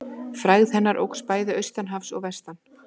Frægð hennar óx bæði austan hafs og vestan.